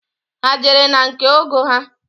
Ha ejere na nke ọgọ ha?